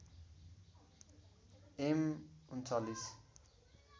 am ३९